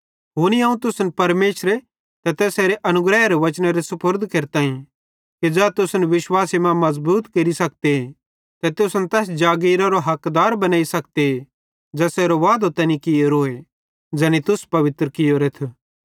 हुनी अवं तुसन परमेशरे ते तैसेरे अनुग्रहेरे वचनेरे सुपुर्द केरताईं कि ज़ै तुसन विश्वासे मां मज़बूत केरि सखते ते तुसन तैस जागिरारो हकदार बनेइ सखते ज़ेसेरो वादो तैनी कियोरोए ज़ैनी तुस पवित्र कियोरेथ